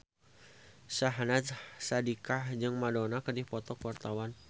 Syahnaz Sadiqah jeung Madonna keur dipoto ku wartawan